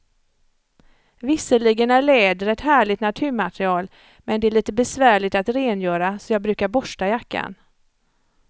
Visserligen är läder ett härligt naturmaterial, men det är lite besvärligt att rengöra, så jag brukar borsta jackan.